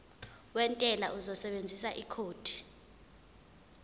wentela uzosebenzisa ikhodi